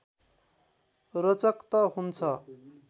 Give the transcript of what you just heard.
रोचक त हुन्छ